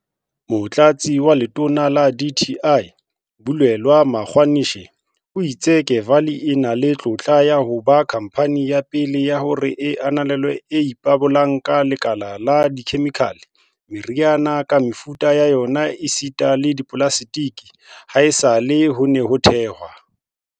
Motlatsi wa Letona la dti, Bulelani Magwanishe, o itse Kevali e na le tlotla ya ho ba khamphane ya pele ya hore e ananelwe e ipabolang ka lekala la dikhemikhale, meriana ka mefuta ya yona esita le dipolaseteke, haesale ho ne ho thehwe